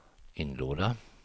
inlåda